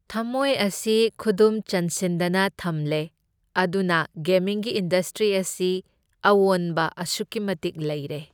ꯊꯝꯃꯣꯏ ꯑꯁꯤ ꯈꯨꯗꯨꯝ ꯆꯟꯁꯤꯟꯗꯅ ꯊꯝꯂꯦ, ꯑꯗꯨꯅ ꯒꯦꯃꯤꯡꯒꯤ ꯏꯟꯗꯁꯇ꯭ꯔꯤ ꯑꯁꯤ ꯑꯑꯣꯟꯕ ꯑꯁꯨꯛꯀꯤ ꯃꯇꯤꯛ ꯂꯩꯔꯦ꯫